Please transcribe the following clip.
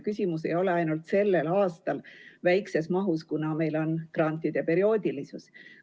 Küsimus ei ole ainult selle aasta väikeses mahus, kuna meil on grantide perioodilisus.